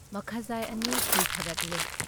ꯃꯈꯖꯥꯏ ꯑꯅꯤ ꯈꯨꯏꯊꯔꯛꯂꯦ ꯫